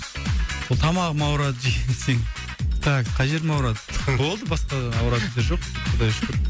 ол тамағым ауырады жиі десең так қай жерім ауырады болды басқа ауыратын жер жоқ құдайға шүкір